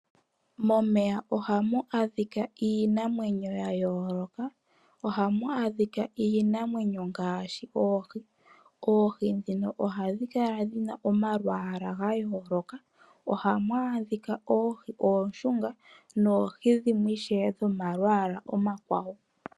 Momeya ohamu adhika iinamwenyo ya yooloka. Ohamu adhika iinamwenyo ngaashi oohi. Oohi ndhino ohadhi kala dhi na omalwaala ga yooloka. Ohamu adhika oohi oonshunga noohi dhimwe ishewe dhomalwaala omakwawo.